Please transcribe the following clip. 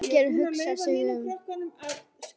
Margeir hugsar sig um.